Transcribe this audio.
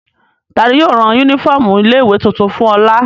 Ta ni yóò rán únífọ́ọ́mù ilé-ìwé tuntun fún Ọlà?